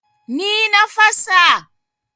Ni na fasa.